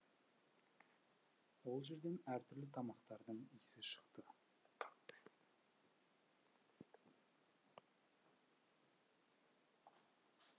ол жерден әртүрлі тамақтардың иісі шықты